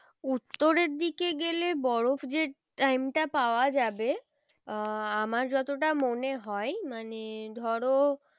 উত্তরের দিকে গেলে বরফ যে time টা পাওয়া যাবে আহ আমার যতটা মনে হয় মানে ধরো